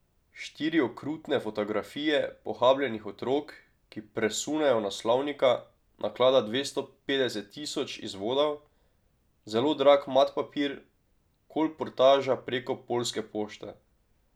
Štiri okrutne fotografije pohabljenih otrok, ki presunejo naslovnika, naklada dvesto petdeset tisoč izvodov, zelo drag mat papir, kolportaža preko Poljske pošte.